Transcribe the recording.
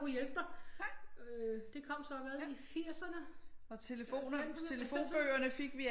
Kunne hjælpe dig det kom så hvad i 80'erne 90'erne 90'erne